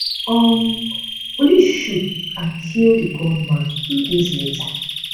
um police shoot and kill di gunman two days later